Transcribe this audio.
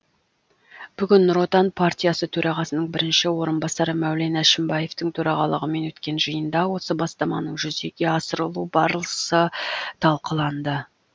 бүгін нұр отан партиясы төрағасының бірінші орынбасары мәулен әшімбаевтың төрағалығымен өткен жиында осы бастаманың жүзеге асырылу барысы талқыланды